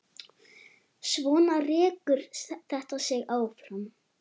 Svona rekur þetta sig áfram.